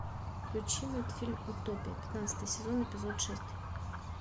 включи мультфильм утопия пятнадцатый сезон эпизод шесть